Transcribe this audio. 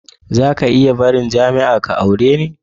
Zaka iya barin jami'a ka aure ni?